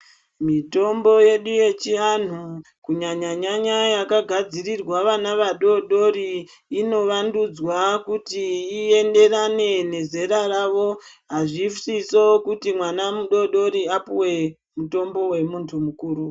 Mitombo yedu yechiantu kunyanyanyanya yakagadzirwa vana vadodori inovandudzwa kuti ienderane nezera ravo azvisizvo kuti mwana mudodori apuwe mutombo wemuntu mukuru.